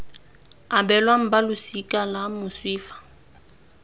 abelwang balosika la moswi fa